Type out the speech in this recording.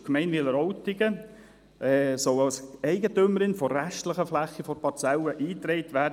Zudem soll die Gemeinde Wileroltigen im Grundbuch als Eigentümerin der restlichen Fläche der Parzelle eingetragen werden.